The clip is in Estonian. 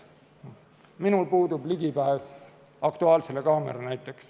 Minul puudub ligipääs näiteks "Aktuaalsele kaamerale".